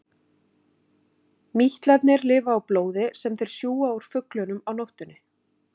Mítlarnir lifa á blóði sem þeir sjúga úr fuglunum á nóttunni.